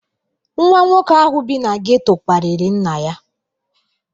Nwa nwoke ahụ bi na geto kparịrị nna ya.